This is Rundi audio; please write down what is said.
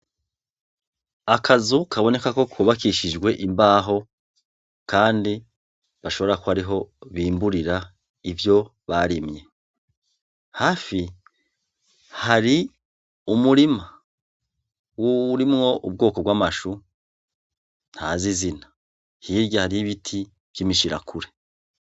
Akazu kaboneka ko kubakishijwe imbaho kandi gashobora kuba ariho bimburira ivyo barimye, hafi hari umurima urimwo ubwoko bw'amashu ntazi izina, hirya hariho ibiti vy'imishirakuri.